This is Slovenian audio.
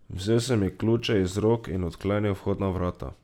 Vzel sem ji ključe iz rok in odklenil vhodna vrata.